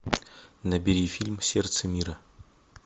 набери фильм сердце мира